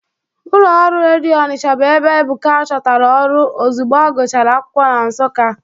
Ụlọ ọrụ redio Ọnicha bụ ebe Ebuka chọtara ọrụ ozugbo ọgụchara akwụkwọ na Nsụka.